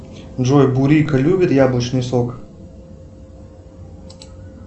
джой бурико любит яблочный сок